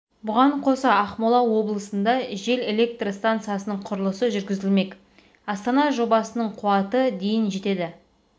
бұған қоса ақмола облысында жел электр стансасының құрылысы жүргізілмек астана жобасының қуаты дейін жетеді